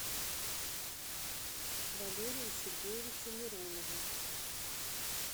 валерию сергеевичу миронову